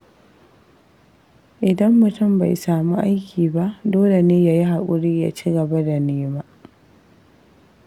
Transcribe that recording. Idan mutum bai sami aiki ba, dole ne ya yi haƙuri ya cigaba da nema.